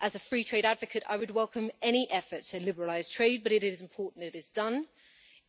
As a free trade advocate, I would welcome any effort to liberalise trade, but it is important that it is done